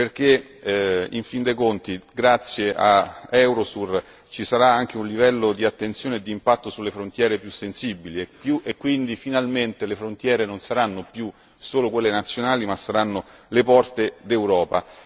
Perché, in fin dei conti, grazie a Eurosur ci sarà anche un livello di attenzione e di impatto sulle frontiere più sensibili e quindi, finalmente, le frontiere non saranno più solo quelle nazionali ma saranno le porte d'Europa.